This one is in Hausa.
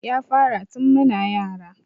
Ya fara tun muna yara